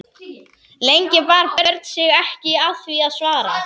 Lengi bar Björn sig ekki að því að svara.